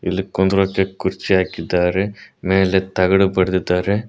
ಇಲ್ಲಿ ಕುಂದ್ರಕ್ಕೆ ಕುರ್ಚಿ ಹಾಕಿದ್ದಾರೆ ಮೇಲೆ ತಗಡು ಬಡಿದಿದ್ದಾರೆ.